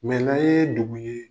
Mɛla yee dugu ye